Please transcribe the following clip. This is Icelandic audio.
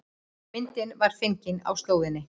Myndin var fengin á slóðinni